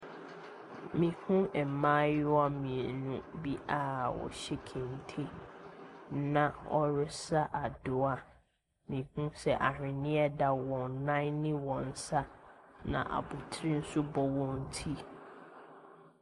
Mehunu mmaayewa mmienu bi a wɔhyɛ kente. Na wɔresa adowa. Mehunu sɛ ahweneɛ da wɔn nan ne wɔn nsa. Na abotire nso bɔ wɔn ti.